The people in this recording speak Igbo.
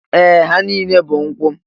Ee! Ha niile bụ nkwụ.